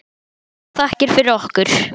Kærar þakkir fyrir okkur.